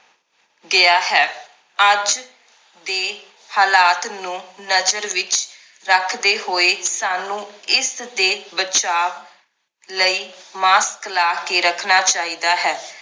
ਗਿਆ ਹੈ ਅੱਜ ਦੇ ਹਾਲਾਤ ਨੂੰ ਨਜ਼ਰ ਵਿਚ ਰੱਖਦੇ ਹੋਏ ਸਾਨੂੰ ਇਸ ਦੇ ਬਚਾਵ ਲਈ mask ਲਾ ਕੇ ਰੱਖਣਾ ਚਾਹੀਦਾ ਹੈ